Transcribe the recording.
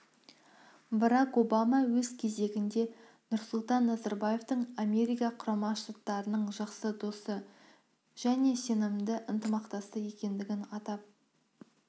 барак обама өз кезегінде нұрсұлтан назарбаевтың америка құрама штаттарының жақсы досы және сенімді ынтымақтасы екендігін атап